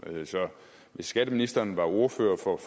så hvis skatteministeren var ordfører på